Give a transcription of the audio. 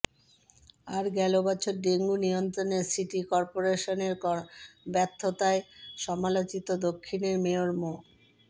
আর গেল বছর ডেঙ্গু নিয়ন্ত্রণে সিটি করপোরেশনের ব্যর্থতায় সমালোচিত দক্ষিণের মেয়র মো